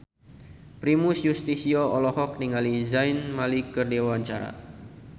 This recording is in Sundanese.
Primus Yustisio olohok ningali Zayn Malik keur diwawancara